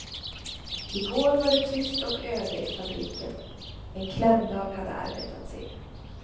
I går var det tyst och öde i fabriken, en klämdag hade arbetats in.